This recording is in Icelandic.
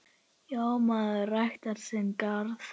Já, maður ræktar sinn garð.